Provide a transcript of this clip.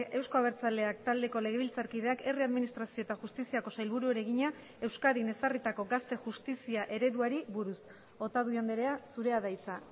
euzko abertzaleak taldeko legebiltzarkideak herri administrazio eta justiziako sailburuari egina euskadin ezarritako gazte justizia ereduari buruz otadui andrea zurea da hitza